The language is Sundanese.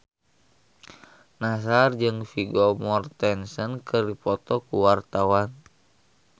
Nassar jeung Vigo Mortensen keur dipoto ku wartawan